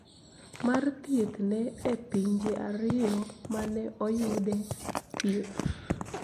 Mar thieth ne e pinje ariyo ma ne oyude thieth,"